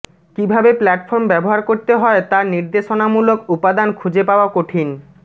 কীভাবে প্ল্যাটফর্ম ব্যবহার করতে হয় তা নির্দেশনামূলক উপাদান খুঁজে পাওয়া কঠিন